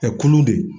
kulu de